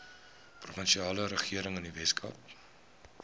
provinsiale regering weskaap